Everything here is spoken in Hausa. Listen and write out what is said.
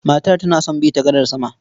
Matar tana don bi ta gadar sama.